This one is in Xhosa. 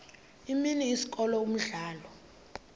imini isikolo umdlalo